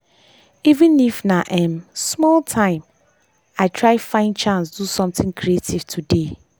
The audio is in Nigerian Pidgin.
even if na um small time i try find chance do something creative today.